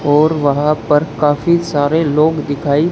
और वहां पर काफी सारे लोग दिखाई--